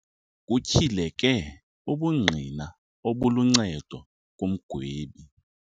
Kutyhileke ubungqina obuluncedo kumgwebi.